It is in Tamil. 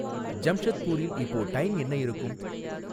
ஜம்ஷத்பூரில் இப்போ டைம் என்ன இருக்கும்?